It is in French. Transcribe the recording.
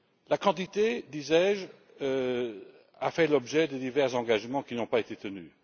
La quantité, je l'ai dit, a fait l'objet de divers engagements qui n'ont pas été tenus.